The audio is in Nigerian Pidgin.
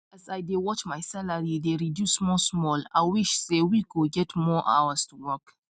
as i dey watch my salary dey reduce small small i wish say week go get more hours to work